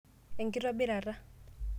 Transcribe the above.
Enkitobirata